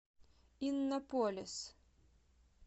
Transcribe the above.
иннополис